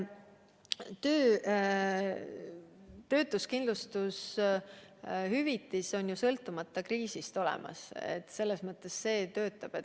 Ja töötuskindlustushüvitis on ju sõltumata kriisist olemas, see töötab.